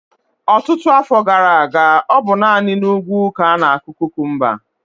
Ọtụtụ afọ gara aga, ọ bụ naanị n'ugwu ka ánà-akụ kukumba